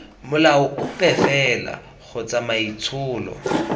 molao ope fela kgotsa maitsholo